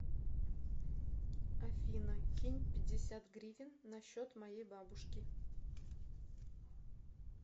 афина кинь пятьдесят гривен на счет моей бабушки